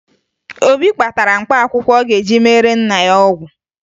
Obi kpatara mkpaakwụkwọ ọ ga-eji meere nna ya ọgwụ